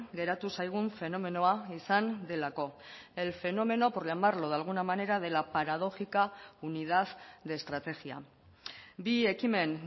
geratu zaigun fenomenoa izan delako el fenómeno por llamarlo de alguna manera de la paradójica unidad de estrategia bi ekimen